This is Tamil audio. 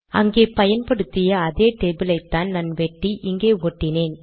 அங்கே பயன்படுத்திய அதே டேபிள் ஐத்தான் நான் வெட்டி இங்கே ஒட்டினேன்